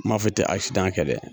N m'a fɔ i tɛ kɛ dɛ.